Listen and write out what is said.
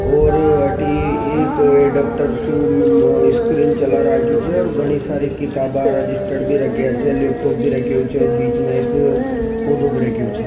और अटी एक डॉक्टर स्क्रीन चल रखी च और घनी सारी किताब रजिस्टर्ड भी रखा च जो लैपटॉप भी रखो च बीच में एक पौधा भी राख्यो छ।